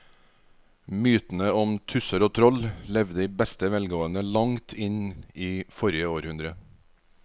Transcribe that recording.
Mytene om tusser og troll levde i beste velgående til langt inn i forrige århundre.